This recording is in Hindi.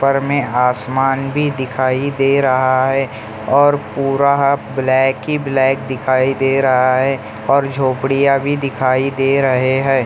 ऊपर में आसमान भी दिखाई दे रहा है और पूरा ब्लैक ही ब्लैक दिखाई दे रहा है और झोपड़ियां भी दिखाई दे रहे है।